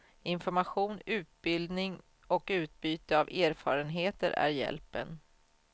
Information, utbildning och utbyte av erfarenheter är hjälpen.